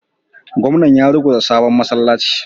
Gwamnan ya ruguza sabon masallacin